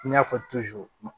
I y'a fɔ